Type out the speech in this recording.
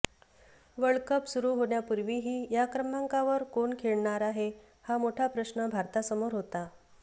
world cup सुरू होण्यापूर्वीही या क्रमांकावर कोण खेळणार हा मोठा प्रश्न भारतासमोर होता